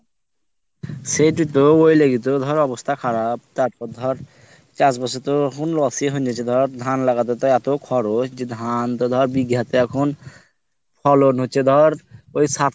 সেইটোই তো ওই লাগি তো অবস্থা খারাপ তারপর ধর চাষবাস তো এখন loss এই হয়ে গেছে ধর ধান লাগাতে তো এত খরচ যে ধান তো ধর বিঘা তে এখন ফলন হচ্ছে ধরে ওই সাত